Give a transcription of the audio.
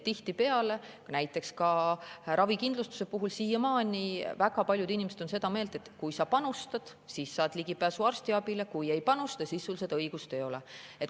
Tihtipeale, näiteks ravikindlustuse puhul, on väga paljud inimesed siiamaani seda meelt, et kui sa panustad, siis saad ligipääsu arstiabile, kui sa ei panusta, siis sul seda õigust ei ole.